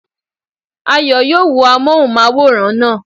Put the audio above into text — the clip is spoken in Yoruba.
Ayọ̀ yóò wo amóhùnmáwòrán naa